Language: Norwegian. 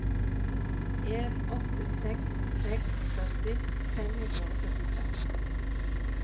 en åtte seks seks førti fem hundre og syttitre